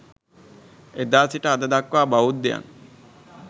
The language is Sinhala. එදා සිට අද දක්වා බෞද්ධයන්